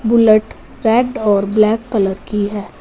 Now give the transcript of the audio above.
Bullet red और black colour की है।